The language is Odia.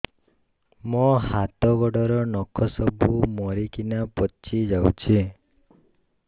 ମୋ ହାତ ଗୋଡର ନଖ ସବୁ ମରିକିନା ପଚି ଯାଉଛି